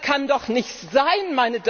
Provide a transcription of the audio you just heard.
Das kann doch nicht sein!